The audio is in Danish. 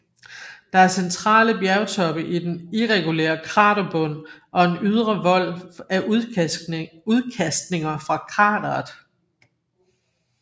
Der er centrale bjergtoppe i den irregulære kraterbund og en ydre vold af udkastninger fra krateret